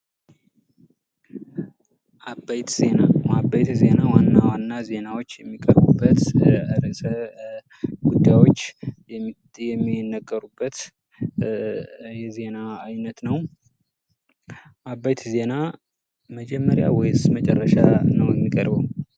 አበይት ዜና፤ አበይት ዜና ዋና ዋና ዜናዎች የሚቀርቡበት፣ ርእሰ ጉዳዮች የሚነገሩበት የዜና አይነት ነው። አበይት ዜና መጀመሪያ ወይስ መጨረሻ የሚቀርበው?